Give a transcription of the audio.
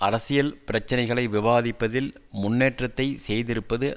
அரசியல் பிச்சினைகளை விவாதிப்பதில் முன்னேற்றத்தை செய்திருப்பது